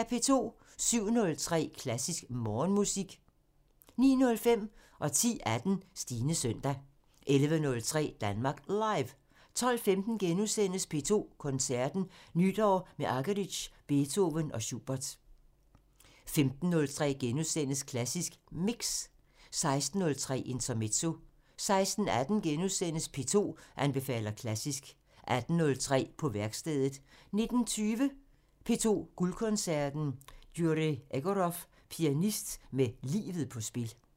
07:03: Klassisk Morgenmusik 09:05: Stines søndag 10:18: Stines søndag 11:03: Danmark Live 12:15: P2 Koncerten – Nytår med Argerich, Beethoven og Schubert * 15:03: Klassisk Mix * 16:03: Intermezzo 16:18: P2 anbefaler klassisk * 18:03: På værkstedet 19:20: P2 Guldkoncerten – Jurij Egorov – pianist med livet på spil